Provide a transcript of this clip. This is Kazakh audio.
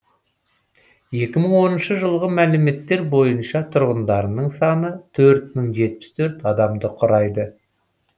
екі мың оныншы жылғы мәліметтер бойынша тұрғындарының саны төрт мың жетпіс төрт адамды құрайды